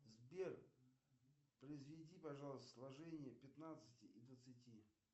сбер произведи пожалуйста сложение пятнадцати и двадцати